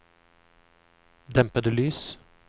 dempede lys